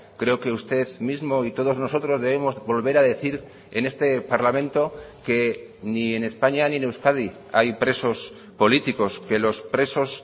creo que usted mismo y todos nosotros debemos volver a decir en este parlamento que ni en españa ni en euskadi hay presos políticos que los presos